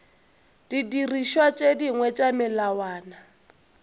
didirišwa tše dingwe tša melawana